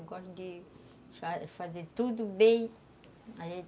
Eu gosto de fa fazer tudo bem